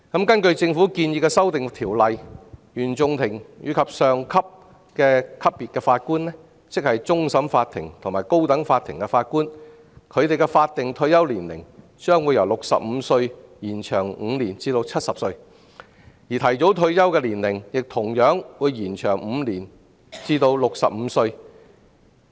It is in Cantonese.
根據政府建議的修訂，原訟法庭及以上級別法官的法定退休年齡將會由65歲延長5年至70歲，而提早退休的年齡亦會延長5年至65歲。